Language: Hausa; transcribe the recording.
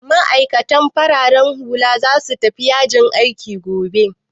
Ma'aikatan farar hula za su tafi yajin aiki gobe?